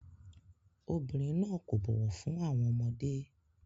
Obìnrin náà kò bọ̀wọ̀ fún àwọn ọmọdé.